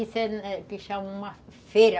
Isso é o que que chamam uma feira.